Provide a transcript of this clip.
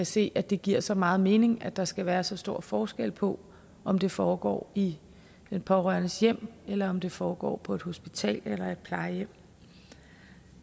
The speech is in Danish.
se at det giver så meget mening at der skal være så stor forskel på om det foregår i den pårørendes hjem eller om det foregår på et hospital eller et plejehjem